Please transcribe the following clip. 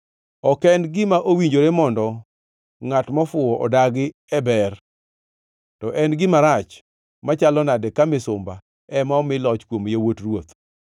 Ok en gima owinjore mondo ngʼat mofuwo odagi e ber, to en gima rach machalo nadi ka misumba ema omi loch kuom yawuot ruoth!